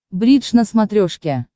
бридж на смотрешке